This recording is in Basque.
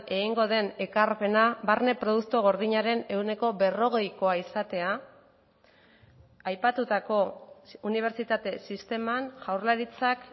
egingo den ekarpena barne produktu gordinaren ehuneko berrogeikoa izatea aipatutako unibertsitate sisteman jaurlaritzak